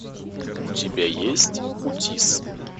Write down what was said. у тебя есть утис